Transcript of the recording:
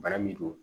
Bana min don